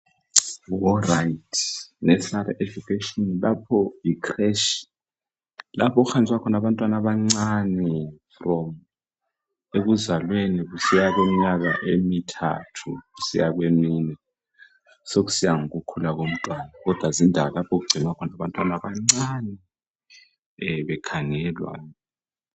Nursery education lapho yikhileshi lapha okuhanjiswa khona abantwana abancana kusukisela ekuzalweni kusiya emnyakeni emithathu kusiya kwemine sokusiya ngokukhula komntwana kodwa yindawo okugcinywa khona abantwana abancane bekhangelwa.